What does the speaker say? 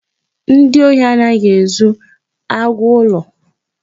Ndị ohi anaghị ezu agwụ ụlọ.